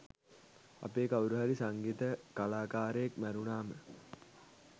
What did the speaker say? අපේ කවුරුහරි සංගීත කලාකාරයෙක් මැරුණාම